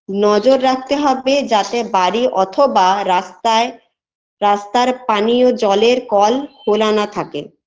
নজর রাখতে হবে যাতে বাড়ি অথবা রাস্তায় রাস্তার পানিয় জলের কল খোলা না থাকে